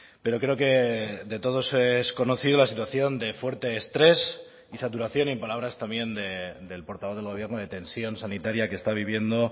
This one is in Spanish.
pero creo que de todos es conocido la situación de fuerte estrés y saturación y palabras también del portavoz del gobierno de tensión sanitaria que está viviendo